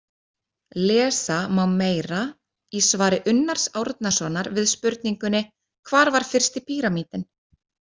Lesa má meira í svari Unnars Árnasonar við spurningunni Hvar var fyrsti píramídinn?